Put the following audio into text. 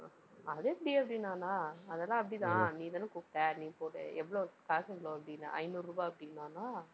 அது எப்படி? அப்படின்னானா? அதெல்லாம் அப்படிதான். நீதானே கூப்பிட்ட, நீ போடு எவ்வளவு காசு எவ்வளவு அப்படின்னேன். ஐந்நூறு ரூபாய் அப்படின்னானா. அஹ்